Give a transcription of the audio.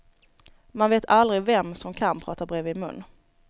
Man vet aldrig vem som kan prata bredvid mun.